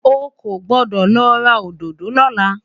ọkọ gbọdọ lo ra òdodo lola